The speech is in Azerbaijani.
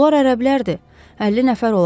Bunlar ərəblərdir, 50 nəfər olar.